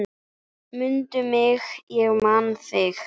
Mundu mig, ég man þig.